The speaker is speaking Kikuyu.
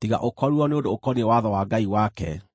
tiga ũkorirwo nĩ ũndũ ũkoniĩ watho wa Ngai wake.”